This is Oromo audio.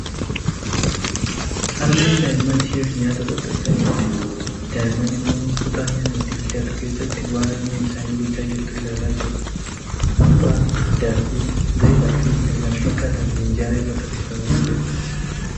Harmeen daa'imman isheef nyaata qopheessaa jirti . Daa'imman immoo kutaa nyaanni itti bilchaatu keessatti waan harmeen isaanii gochaa jirtu ilaalaa jiru. Buuphaa, daakuu, Zayitaa fi kan kana fakkaatan minjaala irra tarreeffamanii jiru.